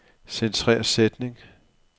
Centrer sætning.